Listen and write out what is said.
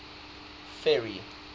ferry